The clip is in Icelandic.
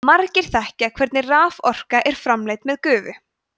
margir þekkja hvernig raforka er framleidd með gufu